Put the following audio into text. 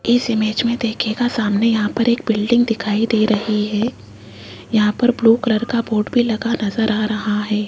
इस इमेज में देखिएगा सामने यहां पर एक बिल्डिंग दिखाई दे रही है यहां पर ब्लू कलर का बोर्ड भी लगा नजर आ रहा है।